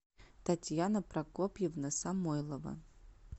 татьяна прокопьевна самойлова